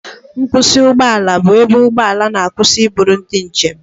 Nkwusị ụgbọ ala bụ ebe ụgbọ ala na-akwụsị iburu ndị njem.